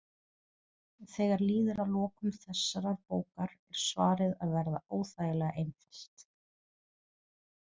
Þegar líður að lokum þessarar bókar er svarið að verða óþægilega einfalt.